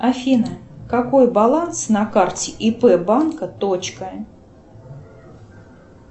афина какой баланс на карте ип банка точка